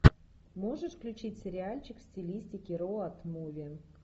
можешь включить сериальчик в стилистике роад муви